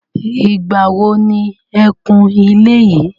Ìgbà wo ni e kun ilé yìí.